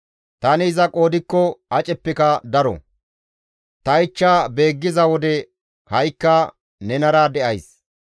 Tani iza qoodikko aceppeka daro; ta ichcha beeggiza wode ha7ikka nenara de7ays.